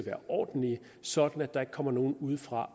er ordentlige så der ikke kommer nogen udefra